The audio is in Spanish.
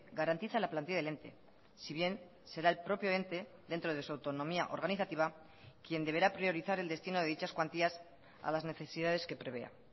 garantiza la plantilla del ente si bien será el propio ente dentro de su autonomía organizativa quien deberá priorizar el destino de dichas cuantías a las necesidades que prevea